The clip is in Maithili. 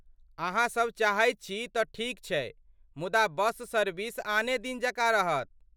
अहाँसब चाहैत छी तँ ठीक छै, मुदा बस सर्विस आने दिन जकाँ रहत।